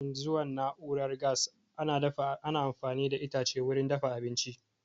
Kafin zuwan na'urar gas, ana amfani da itace wurin dafa abinci